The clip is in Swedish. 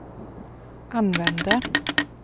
använde